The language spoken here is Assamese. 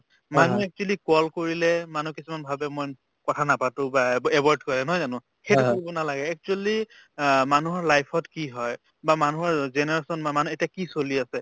মানুহ actually call কৰিলে মানুহ কিছুমান ভাবে মই কথা নাপাতো বা avoid কৰে নহয় জানো সেইটো কৰিব নালাগে actually অ মানুহৰ life ত কি হয় বা মানুহৰ generation বা মানে এতিয়া কি চলি আছে